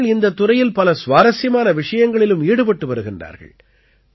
அவர்கள் இந்தத் துறையில் பல சுவாரசியமான விஷயங்களிலும் ஈடுபட்டு வருகிறார்கள்